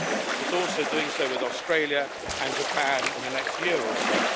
It is also doing so with Australia and Japan in the next year or so.